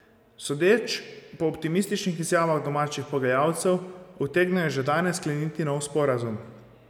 Sodeč po optimističnih izjavah domačih pogajalcev, utegnejo že danes skleniti nov sporazum.